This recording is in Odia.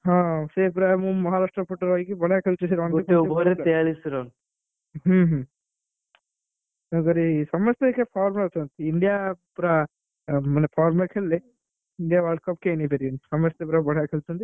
ହଁ ହଁ ସେ ପୁରା ମ~ ମହାରାଷ୍ଟ୍ର ପଟେ ରହିକି ବଢିଆ ଖେଳୁଛି ହୁଁ ହୁଁ ତେଣୁକରି ସମସ୍ତେ ଅଇଖା form ରେ ଅଛନ୍ତି। ଇଣ୍ଡିଆ ପୁରା ମାନେ form ରେ ଖେଳିଲେ India World Cup କେହି ନେଇପାରିବେ ନାହିଁ। ସମସ୍ତେ ପୁରା ବଢିଆ ଖେଳୁଛନ୍ତି।